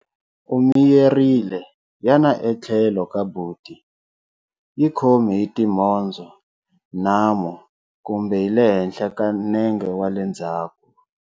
U miyerile, yana etlhelo ka buti, yi khomi hi timhondzo, nhamu, kumbe hi le henhla ka nenge wa le ndzhaku.